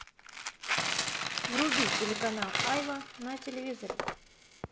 вруби телеканал айва на телевизоре